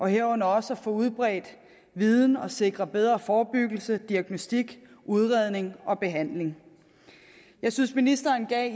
herunder også at få udbredt viden og få sikret bedre forebyggelse diagnostik udredning og behandling jeg synes at ministeren